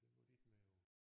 Den var de ikke med på